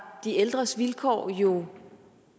de ældres vilkår jo